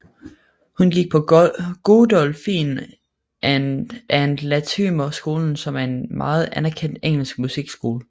Hun gik på Godolphin and Latymer skolen som er en meget anerkendt engelsk musikskole